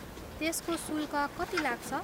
त्यसको शुल्क कति लाग्छ?